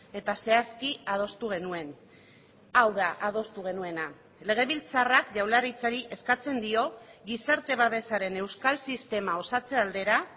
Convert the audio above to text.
eta zehazki adostu genuen hau da adostu genuena legebiltzarrak jaurlaritzari eskatzen dio gizarte babesaren euskal sistema osatze aldera